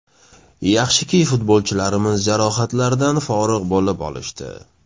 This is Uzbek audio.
Yaxshiki futbolchilarimiz jarohatlardan forig‘ bo‘lib olishdi.